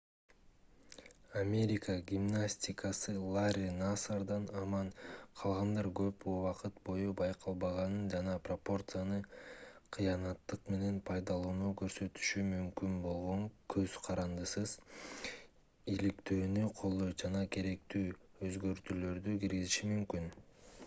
америка гимнастикасы ларри насардан аман калгандар көп убакыт бою байкалбаганын жана пропорцияны кыянаттык менен пайдаланууну көрсөтүшү мүмкүн болгон көз карандысыз иликтөөнү колдойт жана керектүү өзгөртүүлөрдү киргизиши мүмкүн